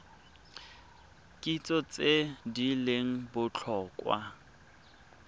kitso tse di leng botlhokwa